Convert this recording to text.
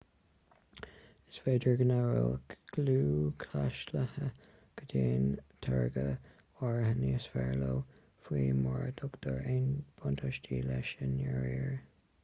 is féidir go n-aireoidh lúthchleasaithe go dtaitníonn táirge áirithe níos fearr leo fiú mura dtugtar aon bhuntáistí leis i ndáiríre